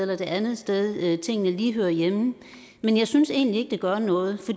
det andet sted tingene lige hører hjemme men jeg synes egentlig ikke det gør noget